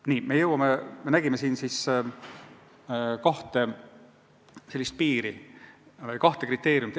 Nii, jutt on seega olnud kahest kriteeriumist.